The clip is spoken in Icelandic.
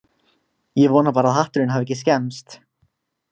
Ég vona bara að hatturinn hafi ekki skemmst